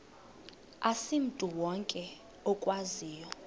asimntu wonke okwaziyo